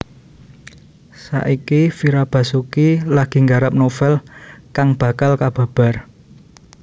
Saiki Fira Basuki lagi nggarap novel kang bakal kababar